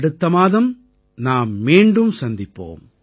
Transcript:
அடுத்த மாதம் நாம் மீண்டும் சந்திப்போம்